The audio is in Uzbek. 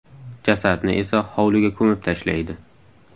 Jasadni esa hovliga ko‘mib tashlaydi.